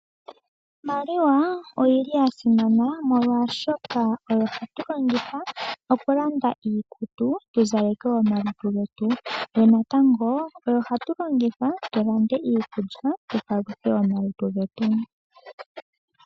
Iimaliwa oyi li ya simana oshoka oyo hatu longitha okulanda iikutu opo tu zaleke omalutu getu yo natango oyo hatu longitha okulanda iilya tu paluthe omalutu getu.